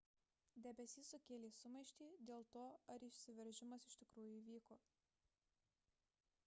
debesys sukėlė sumaištį dėl to ar išsiveržimas iš tikrųjų įvyko